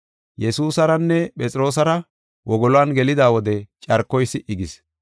Yesuusaranne Phexroosara wogoluwan gelida wode carkoy si77i gis.